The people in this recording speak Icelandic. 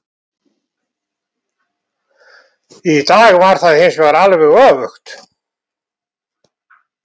Í dag var það hinsvegar alveg öfugt.